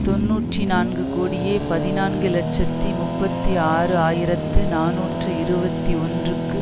தொன்னூற்றி நான்கு கோடியே பதினான்கு இலட்சத்தி முப்பத்தி ஆறு ஆயிரத்தி நாநூற்று இருபத்தி ஒன்றுக்கு